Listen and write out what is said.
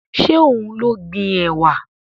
Ṣé òun ló gbin ẹ̀wà?